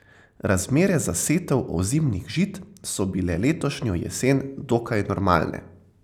Razmere za setev ozimnih žit so bile letošnjo jesen dokaj normalne.